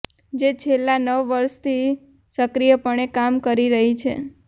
જે છેલ્લા નવ વર્ષથી સક્રિયપણે કામ કરી રહી છે